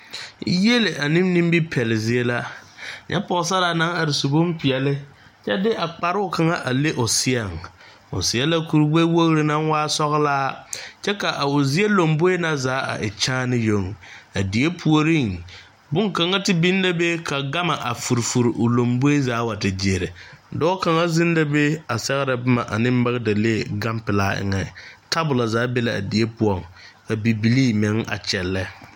Yield ane nimipɛle zie la nyɛ pɔɔsaraa naŋ are su bonpeɛɛle kyɛ de a kparoo kaŋa a le o seɛŋ o seɛ la kure gbɛwogre naŋ waa sɔglaa kyɛ ka o zie lomboe na zaa a e kyaane yoŋ a die puoriŋ bonkaŋa te biŋ la be ka gamma a fure fure o lomboe zaa wa te gyiire dɔɔ kaŋa zeŋ la be a sɛgrɛ bomma a ne magdalee gan pilaa eŋɛ tabolɔ zaa be laa die poɔŋ ka bibilii meŋ a kyɛllɛ.